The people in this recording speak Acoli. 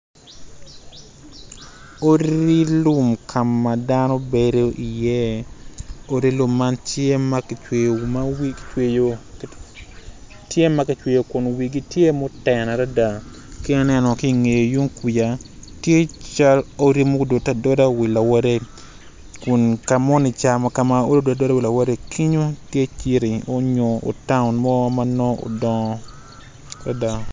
Odi lum ka ma dano bedi iye odi lum man tye ma kicweyo ma wigi kicweyo tye ma kicweyo kun wigi tye ma oten adada ki aneno ki ingeye tung kuja tye cal odi mudode adoda i wi lawotte kun ka moni ca-ni ma odi odode adoda i wi lawotte- kinyo tye taun mo ma nongo odongo adada